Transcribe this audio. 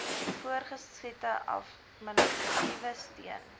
voortgesette administratiewe steun